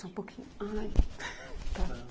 Só um pouquinho. Ai. Tá